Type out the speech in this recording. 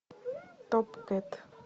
топ кэт